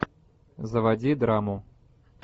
заводи драму